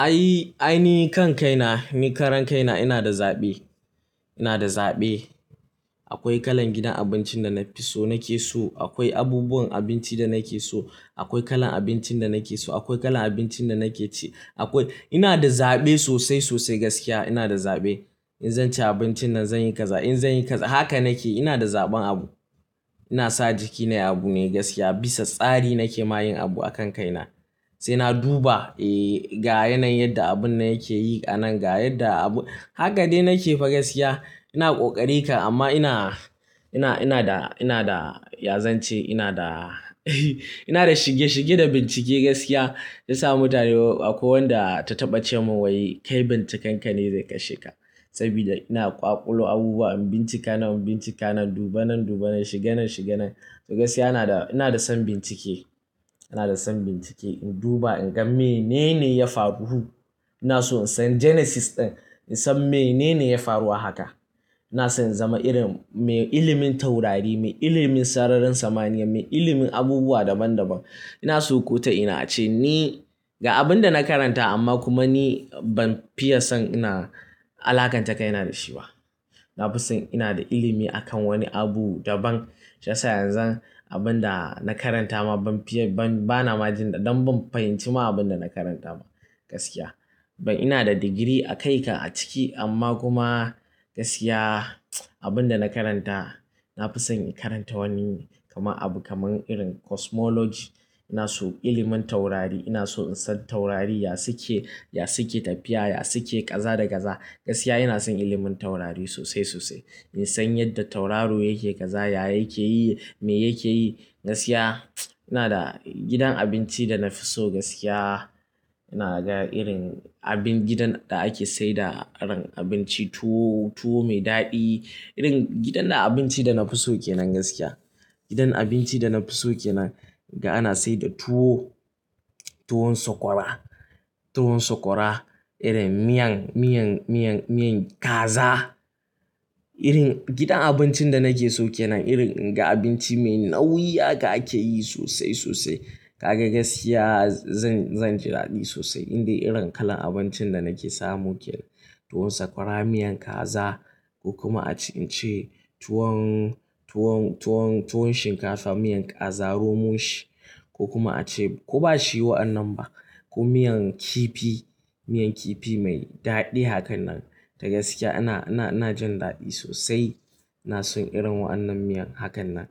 Ai, ainihin kan kai na, ni karan kai na ina da zaɓe, ina da zaɓe. Akoi kalan gidan abincin da na fi so nake so, akoi abubuwan abinci da nake so, akoi kalan abincin da nake so, akoi kalan abincin da nake ci, akoi-- ina da zaɓe sosai sosai gaskiya ina da zaɓe. In zan ci abincin nan zan yi kaza, in zan yi kaza, haka nake ina da zaɓan abu. Ina sa jiki nayi abu ne gaskiya bisa tsari nake ma yin abu a kan kai na. Sai na duba, eh, ga yanayin yadda abun nan yake yi a nan ga yadda abu, haka dai nake fa gaskiya. Ina ƙoƙari ka amma ina, ina, ina da, ina da yazance ina da, ina da shige shige da bincike gaskiya. Ya sa mutane akoi wanda ta taɓa ce min wai "kai binciken ka ne zai kashe ka". Sabida ina ƙwaƙulo abubuwa in bincika nan, in bincika nan, duba nan, duba nan, shiga nan, shiga nan. To gaskiya ina da, ina da son bincike, ina da son bincike. In duba in ga menene ya faru. Ina so in san genesis ɗin, in san menene ya faru a haka. Ina son zama irin mai ilimin taurari, mai ilimin sararin samaniya, mai ilimin abubuwa daban daban. Ina so ko ta ina ace ni ga abun da na karanta amma kuma ni ban fiye son ina-- alaƙanta kaina da shi ba. Na fi son ina da ilimi a kan woni abu daban. Shiyasa yanzu abun da na karanta ma ban fiye, ban bana ma jin, don ban fahimci ma abun da na karanta ba gaskiya. Ban ina da digiri a kai ka a ciki amma kuma gaskiya, abun da na karanta, na fi son in karanta woni kaman abu kaman irin cosmology. Ina so ilimin taurari, ina so in san taurari ya suke, ya suke tafiya, ya suke kaza da kaza. Gaskiya ina son ilimin taurari sosai sosai. In san yadda tauraro yake kaza, ya yake yi, me yake yi. Gaskiya, ina da gidan abinci da na fi so gaskiya. Ina ga irin abin gidan da ake saida irin abinci tuwo, tuwo mai daɗi. Irin gidan da abinci da na fi so ke nan gaskiya. Gidan abinci da na fi so ke nan ga ana saida tuwo, tuwon sokwara, tuwon sokwara, irin miyan, miyan, miyan, miyan kaza. Irin gidan abincin da nake so ke nan irin ga abinci mai nauyi haka ake yi sosai sosai. Kaga gaskiya zan, zan ji daɗi sosai in dai irin kalan abincin da nake samu kenan. Tuwon sakwara, miyan kaza ko kuma a ce, in ce tuwon, tuwon, tuwon, tuwon shinkafa, miyan kaza, romon shi ko kuma a ce ko ba shi wa annan ba ko miyan kifi, miyan kifi mai daɗi hakan nan. To gaskiya ina, ina, ina jin daɗi sosai. Na son irin wa annan miyan hakan nan.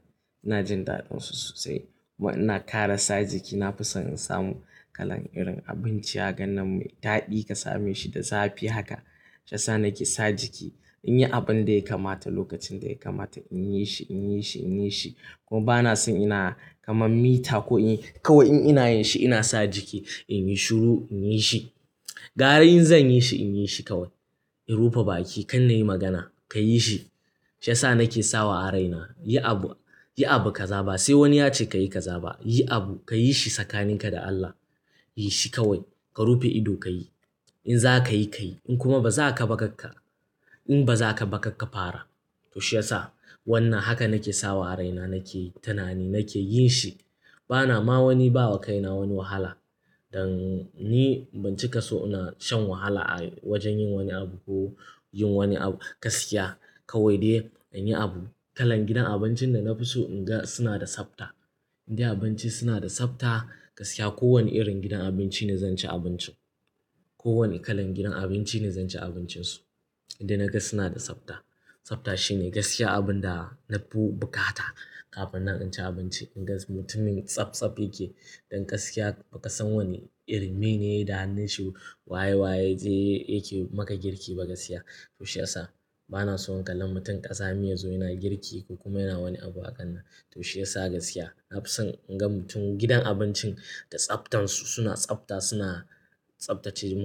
Ina jin daɗin su sosai. Ina kara sa jiki na fi son in samu kalan irin abinci hakan nan mai daɗi ka same shi da zafi haka. Shiyasa nake sa jiki in yi abin da ya kamata lokacin da ya kamata in yi shi, in yi shi, in yi shi. Koma bana son ina kaman mita ko inyi kawai in ina yin shi ina sa jiki. In yi shuru, in yi shi. Gara in zan yi shi in yi shi kawai. In rufe baƙi kan na yi magana "ka yi shi". Shiyasa nake sawa a raina, yi abu, yi abu ka za ba. Se sai woni ya ce ka yi ka zaba. Yi abu ka yi shi tsakaninka da Allah. Yi shi kawai. Ka rufe ido ka yi. In za ka yi, ka yi. In kuma ba za ka ba kakka, in ba za ka ba kakka fara. To shiyasa wannan haka nake sawa a raina nake tunani nake yin shi. Bana ma woni bawa kaina woni wahala. Don ni ban cika so ina shan wahala a wojen yin woni abu ko yin woni abu. Gaskiya kawai dai in yi abu. Kalan gidan abincin da na fi so in ga suna da tsafta. In dai abinci suna da tsafta gaskiya kowane irin gidan abinci ne zan ci abinci. Ko woni kalan gidan abinci ne zan ci abincin su. In dai na ga suna da tsafta. Tsafta shine gaskiya abun da nafi bukata kafin nan in shi abinci. In gan su mutumin tsabtsab yake don gaskiya ba ka san woni irin, me ne yayi da hannun shi waye waye ze yake maka girki ba gaskiya. To shiyasa bana son in kalla mutum ƙazami yazo yana girki ko kuma yana woni abu a kan nan. To shiyasa gaskiya na fi son in ga mutum gidan abincin da tsaftan su suna tsafta suna tsaftace mu.